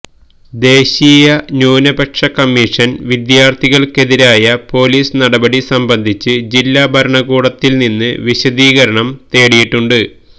ദേശീയ ന്യൂനപക്ഷ കമ്മീഷന് വിദ്യാര്ത്ഥികള്ക്കെതിരായ പൊലീസ് നടപടി സംബന്ധിച്ച് ജില്ലാ ഭരണകൂടത്തില് നിന്ന് വിശദീകരണം തേടിയിട്ടുണ്ട്